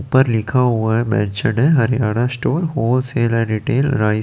ऊपर लिखा हुआ है match day Haryana store wholesale and retail रा--